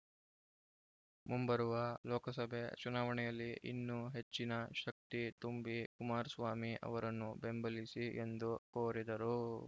ಮುಂಬರುವ ಲೋಕಸಭೆ ಚುನಾವಣೆಯಲ್ಲಿ ಇನ್ನೂ ಹೆಚ್ಚಿನ ಶಕ್ತಿ ತುಂಬಿ ಕುಮಾರಸ್ವಾಮಿ ಅವರನ್ನು ಬೆಂಬಲಿಸಿ ಎಂದು ಕೋರಿದರು